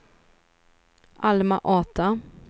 Alma-Ata